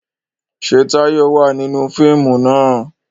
Ṣé Táyọ̀ wà nínú fíìmù náà?